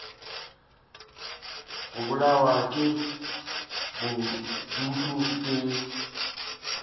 go bolawa ke bodutu ke